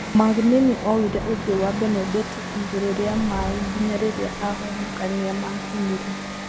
Magnini oire ũthiũ wa Benedetto igũrũ rĩa maĩ nginya rĩrĩa ahonokania makinyire